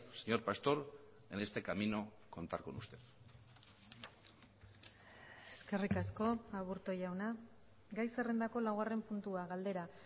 señor pastor en este camino contar con usted eskerrik asko aburto jauna gai zerrendako laugarren puntua galdera